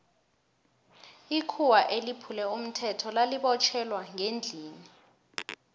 ikhuwa eliphule umthetho lali botjhelwa ngendlini